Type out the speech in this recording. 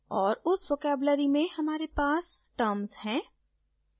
और उस vocabulary में हमारे पास terms है